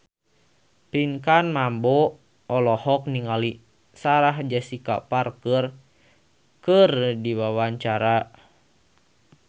Pinkan Mambo olohok ningali Sarah Jessica Parker keur diwawancara